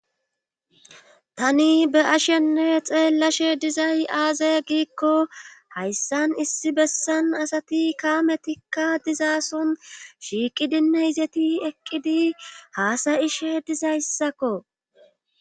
tani be'ashenne xeellashe dizay aaze giikko hayssan issi bessan asati kaametikka dizaason shiiqidinne izeti eqqidi haasa'ishe dizayssakko